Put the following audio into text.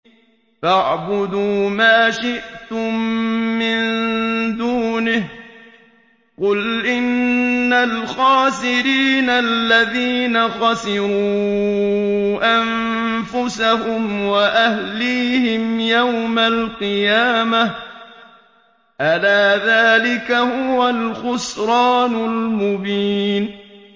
فَاعْبُدُوا مَا شِئْتُم مِّن دُونِهِ ۗ قُلْ إِنَّ الْخَاسِرِينَ الَّذِينَ خَسِرُوا أَنفُسَهُمْ وَأَهْلِيهِمْ يَوْمَ الْقِيَامَةِ ۗ أَلَا ذَٰلِكَ هُوَ الْخُسْرَانُ الْمُبِينُ